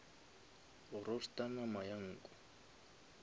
go roaster nama ya nku